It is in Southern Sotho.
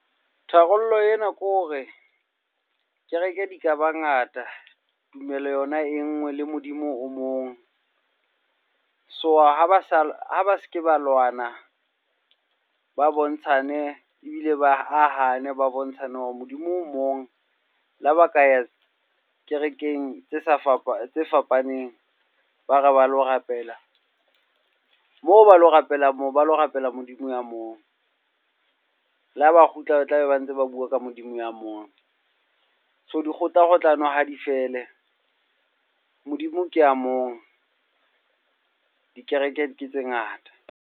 Tharollo ena kore kereke di ka bangata, tumelo yona e nngwe, le Modimo o mong. So ha ba sa, ha ba se ke ba lwana, ba bontshane ebile ba ahane. Ba bontshane hore Modimo o mong le ha ba ka ya kerekeng tse sa tse fapaneng ba re ba lo rapela. Moo ba lo rapela moo, ba lo rapela Modimo ya moo. Le ha ba kgutla, ba tlabe ba ntse ba bua ka Modimo ya mong. So di kgohlakgohlano ha di fele. Modimo ke a mong, dikereke ke tse ngata.